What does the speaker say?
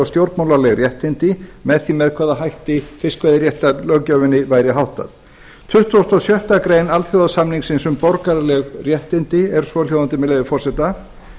stjórnmálaleg réttindi með því með hvaða hætti fiskveiðiréttarlöggjöfinni væri háttað tuttugasta og sjöttu grein alþjóðasamningsins um borgaraleg réttindi er svohljóðandi með leyfi forseta